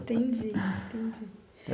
Entendi, entendi.